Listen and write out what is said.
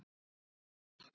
Hvað er kósí?